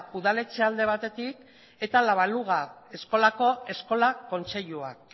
udaletxea alde batetik eta la baluga eskolako eskola kontseiluak